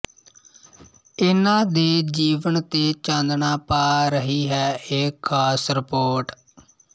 ਇਨ੍ਹਾਂ ਦੇ ਜੀਵਨ ਤੇ ਚਾਨਣਾ ਪਾ ਰਹੀ ਹੈ ਇਹ ਖਾਸ ਰਿਪੋਰਟ